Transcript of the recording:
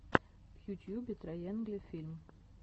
в ютьюбе трайэнгли фильм